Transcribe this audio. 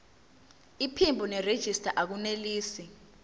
iphimbo nerejista akunelisi